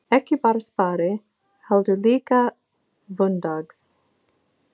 Ekki bara spari, heldur líka hvunndags.